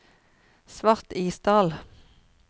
Svartisdal